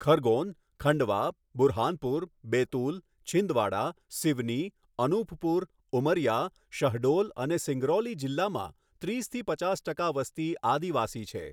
ખરગોન, ખંડવા, બુરહાનપુર, બેતુલ, છિંદવાડા, સિવની, અનુપપુર, ઉમરિયા, શહડોલ અને સિંગરૌલી જિલ્લામાં, ત્રીસથી પચાસ ટકા વસ્તી આદિવાસી છે.